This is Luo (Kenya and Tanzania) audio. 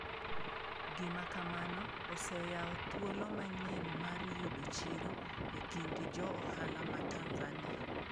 Gima kamano oseyawo thuolo manyien mar yudo chiro e kind jo ohala ma Tanzania.